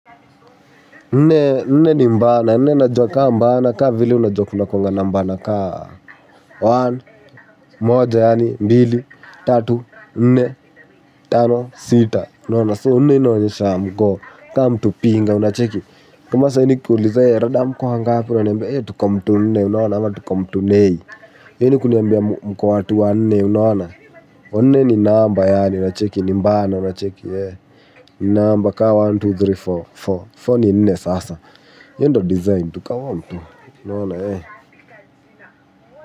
Nne, nne ni mbana, nne najua ka mbana, ka vile unajua kunakuwanga na mbana ka one, moja yaani, mbili, tatu, nne, tano, sita. Unaona? So nne inaonyesha mko, ka mtu pinga, unacheki? Kama saa hii nikikuuliza, rada mko wangapi? Unaniambia eh, tuko mtu nne, unaona? Ama tuko mtu nei. Hii ni kuniambia mko watu wanne, unaona? Wanne ni namba yaani, unacheki? Ni mbana, unacheki? Namba kaa moja, mbili, tatu, nne, nne, nne ni nne sasa. Hiyo ndo design tu, ka one two, unaona?